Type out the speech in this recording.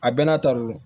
A bɛɛ n'a ta de don